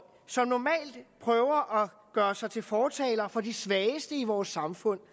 som normalt prøver at gøre sig til fortaler for de svageste i vores samfund